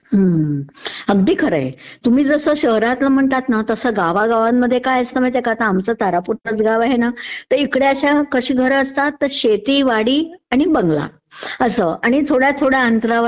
हम्म्म... अगदी खरं आहे, तुम्ही जसं शहरातंलं म्हणतात ना तसं गावागावंमध्ये काय असतं माहितेय का .... आता आमचं जसं तारापूर गाव आहे ना...तिकडे कशी घरं असतात की शेती वाडी आणि बंगला असं. आणि थोड्या थोड्या अंतरावर